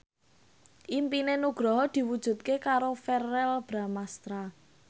impine Nugroho diwujudke karo Verrell Bramastra